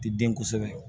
Ti den kosɛbɛ